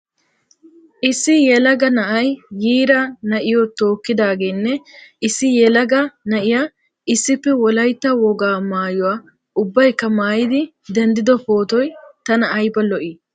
Issi yelaga na'ay yiira na'iyo tookkidaagenne issi yelaga na'iya issippe wolaytta wogaa maayuwa ubbaykka maayidi denddido pootoy ayba tana lo"ii.